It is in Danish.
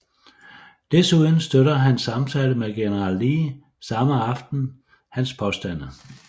Desuden støtter hans samtale med general Lee samme aften hans påstande